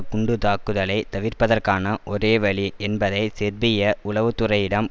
குண்டுத்தாக்குதலை தவிர்ப்பதற்கான ஒரேவழி என்பதை செர்பிய உளவு துறையிடம்